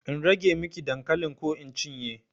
In rage miki dankalin ko in cinye?